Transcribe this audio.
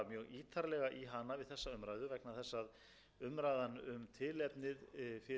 ákveðið var að hafa ekki samráð við alþingi samkvæmt